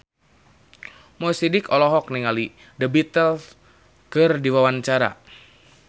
Mo Sidik olohok ningali The Beatles keur diwawancara